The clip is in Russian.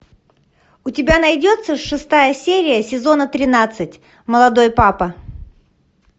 у тебя найдется шестая серия сезона тринадцать молодой папа